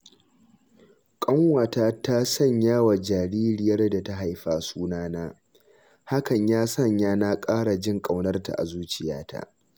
Ƙanwata ta sanyawa jaririyar da ta haifa suna na, hakan ya sanya na ƙara jin ƙaunarta a zuciyata.